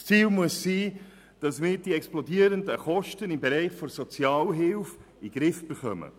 Das Ziel muss sein, dass wir die explodierenden Kosten im Bereich der Sozialhilfe in den Griff bekommen.